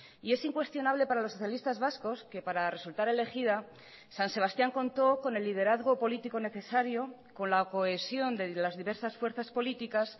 y es incuestionable para los socialistas vascos que para resultar elegida san sebastián contó con el liderazgo político necesario con la cohesión de las diversas fuerzas políticas